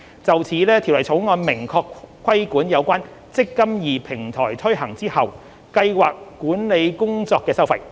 就此，《條例草案》明確規管有關"積金易"平台推行後計劃管理工作的收費。